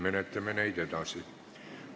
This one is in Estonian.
Kohaloleku kontroll, palun!